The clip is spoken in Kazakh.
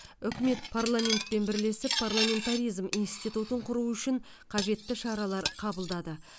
үкімет парламентпен бірлесіп парламентаризм институтын құру үшін қажетті шаралар қабылдады